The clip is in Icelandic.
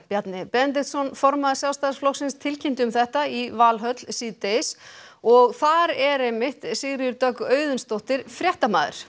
Bjarni Benediktsson formaður Sjálfstæðisflokksins tilkynnti um þetta í Valhöll síðdegis og þar er Sigríður Dögg Auðunsdóttir fréttamaður